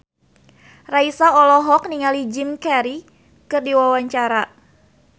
Raisa olohok ningali Jim Carey keur diwawancara